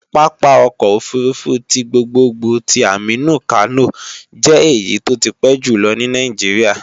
Pápá ọkọ̀ òfurufú ti gbogbogbò ti Aminu Kano jẹ́ èyí tó ti pẹ́ jùlọ ní Nàìjíríà